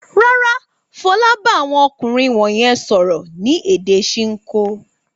Rárá, Fọlá bá àwọn ọkùnrin wọ̀nyẹn sọ̀rọ̀ ní èdè Ṣinkó.